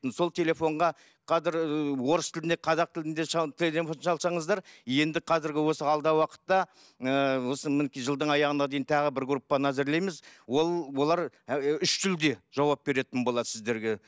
сол телефонға қазір ыыы орыс тілінде қазақ тілінде телефон шалсаңыздар енді қазіргі осы алдағы уақытта ыыы жылдың аяғына дейін тағы бір группаны әзірлейміз ол олар үш тілде жауап беретін болатын сіздерге